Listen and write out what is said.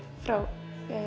frá